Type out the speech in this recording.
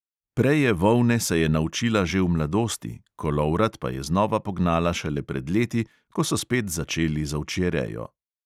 Preje volne se je naučila že v mladosti, kolovrat pa je znova pognala šele pred leti, ko so spet začeli z ovčjerejo.